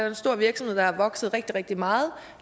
en stor virksomhed der er vokset rigtig rigtig meget